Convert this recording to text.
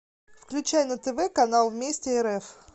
включай на тв канал вместе рф